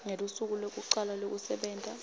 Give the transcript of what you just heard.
ngelusuku lwekucala lwekusebenta